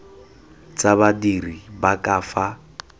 tsa badiri ba ka fa